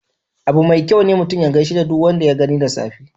Abu mai kyau ne mutum ya gishe da duk wanda ya gani da safe.